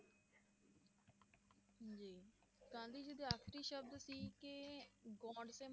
ਜੀ ਗਾਂਧੀ ਜੀ ਦੇ ਆਖਰੀ ਸ਼ਬਦ ਸੀ ਕਿ ਗੋਂਡਸੇ